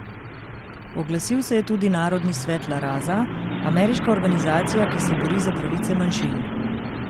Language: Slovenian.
Oglasil se je tudi Narodni svet La Raza, ameriška organizacija, ki se bori za pravice manjšin.